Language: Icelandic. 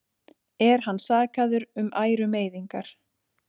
Er hann sakaður um ærumeiðingar